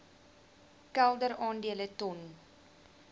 kelder aandele ton